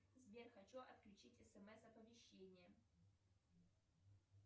сбер хочу отключить смс оповещения